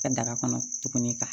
Ka daga kɔnɔ tuguni